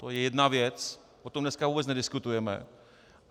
To je jedna věc, o tom dneska vůbec nediskutujeme.